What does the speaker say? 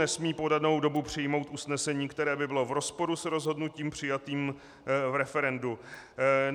Nesmí po danou dobu přijmout usnesení, které by bylo v rozporu s rozhodnutím přijatým v referendu.